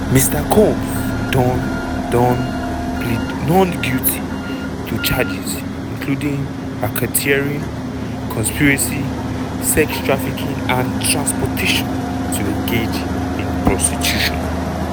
mr combs don don plead not guilty to charges including racketeering conspiracy sex trafficking and transportation to engage in prostitution.